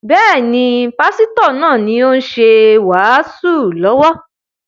Bẹ́ẹ̀ni, Pásítọ̀ náà ni ó ṣe wàásù lọ́wọ́